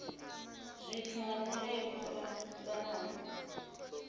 zwithu nga nila dzo fhambanaho